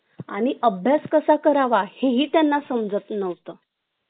आणि अभ्यास कसा करावा हेही त्यांना समजत नव्हत